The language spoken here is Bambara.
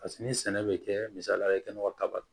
Paseke ni sɛnɛ bɛ kɛ misalila i kɛnɛba kaba ye